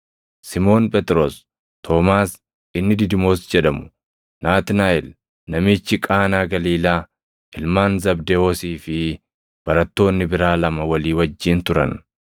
Simoon Phexros, Toomaas inni Didimoos jedhamu, Naatnaaʼel namichi Qaanaa Galiilaa, ilmaan Zabdewoosii fi barattoonni biraa lama walii wajjin turan.